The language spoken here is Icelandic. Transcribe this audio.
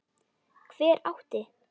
Hver átti?